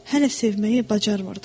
Hələ sevməyi bacarmırdım.